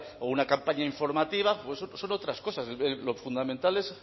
o una campaña informativa son otras cosas lo fundamental es